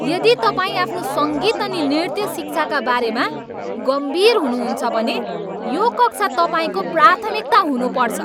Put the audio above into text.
यदि तपाईँ आफ्नो सङ्गीत अनि नृत्य शिक्षाका बारेमा गम्भीर हुनुहुन्छ भने यो कक्षा तपाईँको प्राथमिकता हुनुपर्छ।